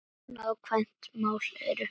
Nákvæm mál eru